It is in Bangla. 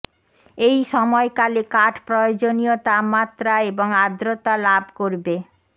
এই সময়কালে কাঠ প্রয়োজনীয় তাপমাত্রা এবং আর্দ্রতা লাভ করবে